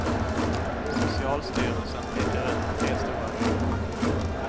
Socialstyrelsen pekar ut tre stora grupper.